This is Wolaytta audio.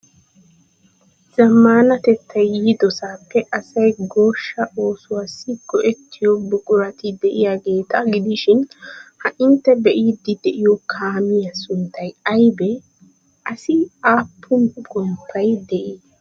Zammaanatettay yiidoosappe asay goshshaa oosuwassi go'ettiyo buqurati de'iyageeta gidishin ha intte be'iiddi de'iyo kaamiya sunttay aybee? Assi aappun goomay de'ii?